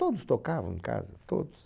Todos tocavam em casa, todos.